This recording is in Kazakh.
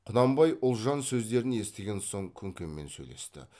құнанбай ұлжан сөздерін естіген соң күнкемен сөйлесті